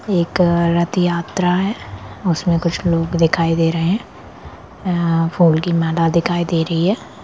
एक रथ यात्रा है उसमें कुछ लोग दिखाई दे रहे है अ फूल की माला दिखाई दे रही है।